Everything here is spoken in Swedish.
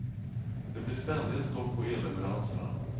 Det blir ständiga stopp på elleveranserna.